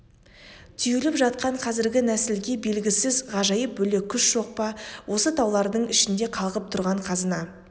түйіліп жатқан қазіргі нәсілге белгісіз ғажайып бөлек күш жоқ па осы таулардың ішінде қалғып тұрған қазына